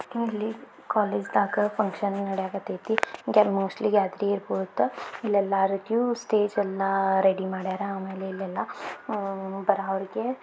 ಇಲ್ಲಿ ಕಾಲೇಜ್ ದಾಗ ಫುನ್ಕ್ಷನ್ ನಡಿಯಕ್ಅತೈತಿ. ಮೋಸ್ಟ್ಲಿ ಗ್ಯಾತೆರಿಂಗ್ ಇರ್ಬೋದು. ಇಲ್ ಎಲ್ಲಾ ರೀತಿಯು ಸ್ಟೇಜ್ ಎಲ್ಲ ರೆಡಿ ಮಾಡಿಯಾರ ಆಮೇಲೆ ಇಲ್ಲೆಲ್ಲಾ ಉಹ್ ಬರೋವ್ರಿಗೆ--